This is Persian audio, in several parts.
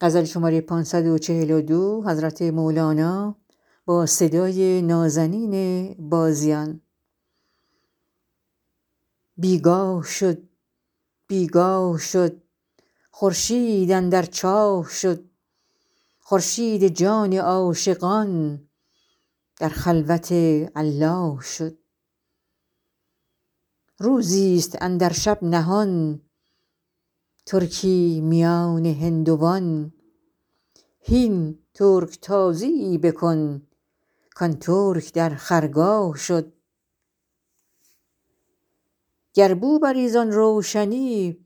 بی گاه شد بی گاه شد خورشید اندر چاه شد خورشید جان عاشقان در خلوت الله شد روزیست اندر شب نهان ترکی میان هندوان هین ترک تازیی بکن کان ترک در خرگاه شد گر بو بری زان روشنی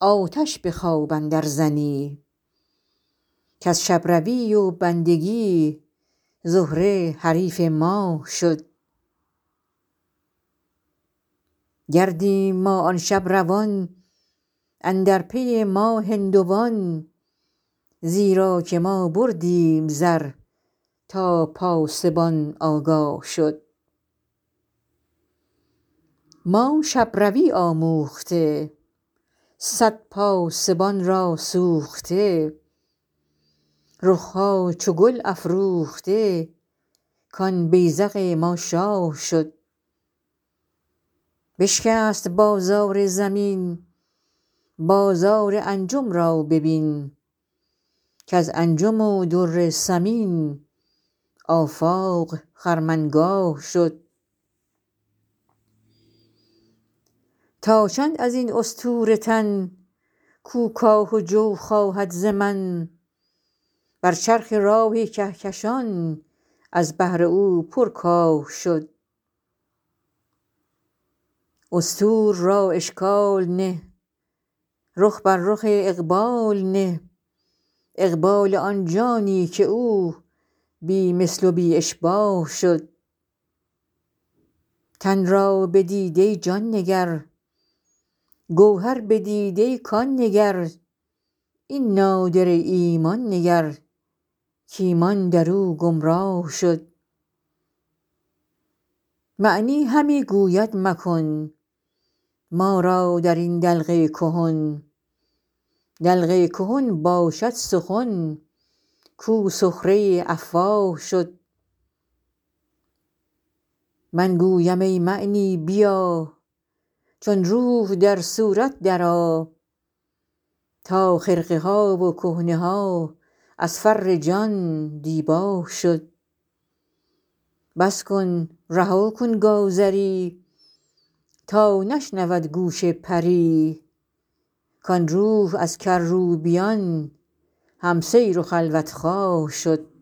آتش به خواب اندرزنی کز شب روی و بندگی زهره حریف ماه شد گردیم ما آن شب روان اندر پی ما هندوان زیرا که ما بردیم زر تا پاسبان آگاه شد ما شب روی آموخته صد پاسبان را سوخته رخ ها چو گل افروخته کان بیذق ما شاه شد بشکست بازار زمین بازار انجم را ببین کز انجم و در ثمین آفاق خرمنگاه شد تا چند از این استور تن کو کاه و جو خواهد ز من بر چرخ راه کهکشان از بهر او پرکاه شد استور را اشکال نه رخ بر رخ اقبال نه اقبال آن جانی که او بی مثل و بی اشباه شد تن را بدیدی جان نگر گوهر بدیدی کان نگر این نادره ایمان نگر کایمان در او گمراه شد معنی همی گوید مکن ما را در این دلق کهن دلق کهن باشد سخن کو سخره افواه شد من گویم ای معنی بیا چون روح در صورت درآ تا خرقه ها و کهنه ها از فر جان دیباه شد بس کن رها کن گازری تا نشنود گوش پری کان روح از کروبیان هم سیر و خلوت خواه شد